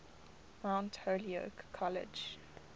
mount holyoke college